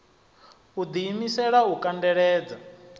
u ḓi imisela u kandeledza